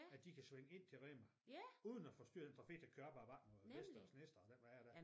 At de kan svinge ind til Rema uden at forstyrre den trafik der kører op ad vej vest ad vest og den vej dér